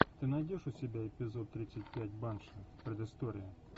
ты найдешь у себя эпизод тридцать пять банши предыстория